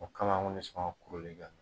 O kama anw kun tɛ sɔn ka kuru de kɛ.